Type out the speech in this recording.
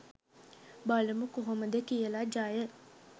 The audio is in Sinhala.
බලමු කොහොමද කියලා ජය